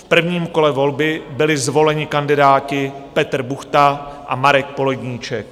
V prvním kole volby byli zvoleni kandidáti Petr Buchta a Marek Poledníček.